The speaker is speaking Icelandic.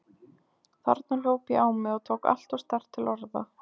Þarna hljóp ég á mig og tók alltof sterkt til orða.